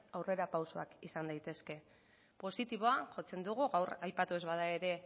aurrerapausoak izan daitezke positiboa jotzen dugu gaur aipatu ez bada ere